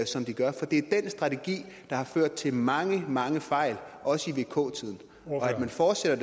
som de gør for det er den strategi der har ført til mange mange fejl også i vk tiden og at man fortsætter